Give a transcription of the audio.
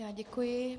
Já děkuji.